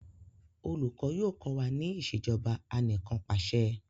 olùkó yóò ko wa ní Ìṣèjọba Anìkanpàṣẹ